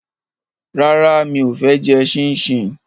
Rárá, mi ò fẹ́ jẹ ṣíńṣiǹ